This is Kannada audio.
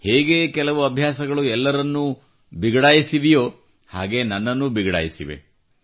ಹೇಗೆ ಕೆಲ ಅಭ್ಯಾಸಗಳು ಎಲ್ಲರಲ್ಲೂ ಬಿಗಡಾಯಿಸಿವೆಯೋ ಹಾಗೇ ನನ್ನಲ್ಲೂ ಬಿಗಡಾಯಿಸಿವೆ